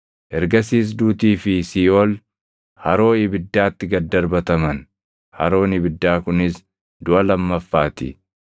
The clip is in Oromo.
Ergasiis duutii fi Siiʼool haroo ibiddaatti gad darbataman. Haroon ibiddaa kunis duʼa lammaffaa ti.